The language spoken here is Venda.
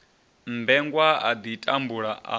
mmbengwa a ḓi tambula a